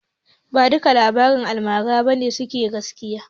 Ba dukkan labaran almara ba ne suke gaskiya.